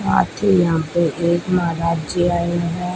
आथी यहां पर एक महाराज जी आए हैं।